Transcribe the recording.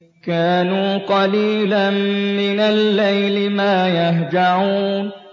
كَانُوا قَلِيلًا مِّنَ اللَّيْلِ مَا يَهْجَعُونَ